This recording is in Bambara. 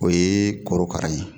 O ye korokara ye